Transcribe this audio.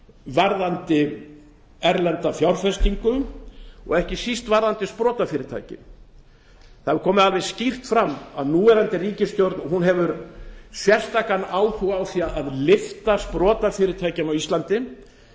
varðandi erlenda fjárfestingu og ekki síst varðandi sprotafyrirtæki það er komið alveg skýrt fram að núverandi ríkisstjórn hefur sérstakan áhuga á því að lyfta sprotafyrirtækjum á íslandi